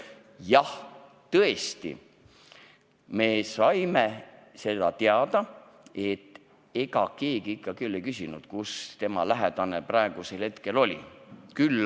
Jah, tõesti, me saime teada, et ega keegi ikka ei küsinud küll, kus tema lähedane sel hetkel oli.